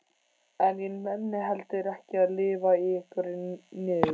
En ég nenni heldur ekki að lifa í einhverri niður